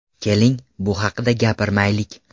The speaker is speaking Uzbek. Keling, bu haqida gapirmaylik.